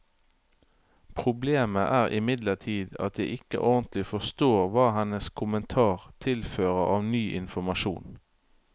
Problemet er imidlertid at jeg ikke ordentlig forstår hva hennes kommentar tilfører av ny informasjon.